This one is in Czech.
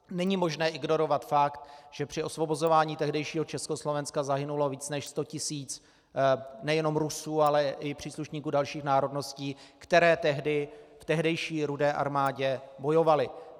Není možné ignorovat fakt, že při osvobozování tehdejšího Československa zahynulo více než sto tisíc nejenom Rusů, ale i příslušníků dalších národností, které tehdy v tehdejší Rudé armádě bojovali.